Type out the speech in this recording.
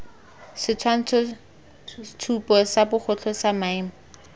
setshwantshotshupo sa bogotlhe sa maemo